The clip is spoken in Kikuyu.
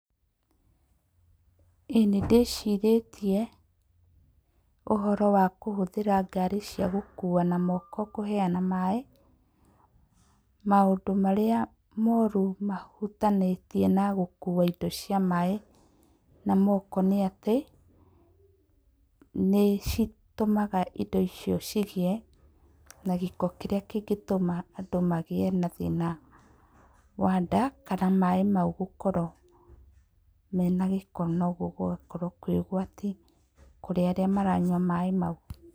Ĩĩ nĩndĩcirĩtie ũhoro wa kũhũthĩra ngari cia gũkua na moko kũheana maĩ. Maũndũ marĩa moru mahutanĩtie na gũkua indo cia maĩ na moko nĩ atĩ, nĩ citũmaga indo icio cigĩe na gĩko kĩrĩa kĩngĩtũma andũ magĩe na thĩna wa nda, kana maĩ mau gũkorwo mena gĩko no ũguo gũgakorwo kũrĩ ũgwati kũrĩ arĩa maranyua maĩ mau.